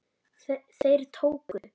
Þeir tóku